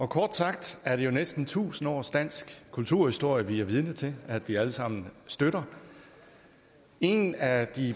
kort sagt er det jo næsten tusind års dansk kulturhistorie vi er vidne til at vi alle sammen støtter en af de